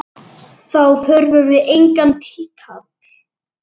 Þá þurfum við engan tíkall!